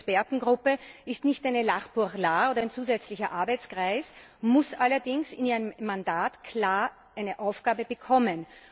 Und diese Expertengruppe ist nicht eine L'art pour l'art oder ein zusätzlicher Arbeitskreis, muss allerdings in ihrem Mandat klar eine Aufgabe bekommen.